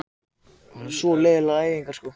Það sé alveg út í hött